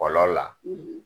Kɔlɔ la